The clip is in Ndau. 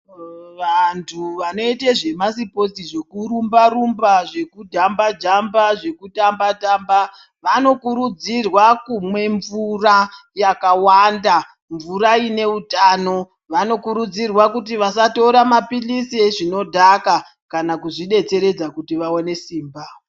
Vantu vanoita zvemasipotsi zvekurumba rumba, zvekujamba Jamba, zvekutamba tamba vanokurudzirwa kumwa mvura yakawanda mvura ine utano. Vanokurudzirwa kuti vasatora mapilizi ezvinodhaka kana kuzvidetseredza kuti vaone simba.